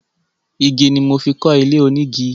Igi ni mo fi kọ́ ilé onígi.